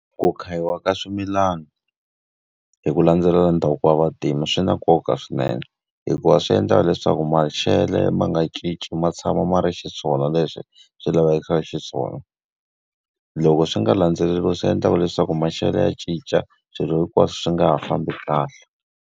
Ku khayiwa ka swimilana hi ku landzelela ndhavuko wa vantima swi na nkoka swinene, hikuva swi endlaka leswaku maxelo ma nga cinci ma tshama ma ri xiswona leswi swi lavekisaka xiswona. Loko swi nga landzeleriwa swi endlaka leswaku maxelo ya cinca swilo hinkwaswo swi nga ha fambi kahle.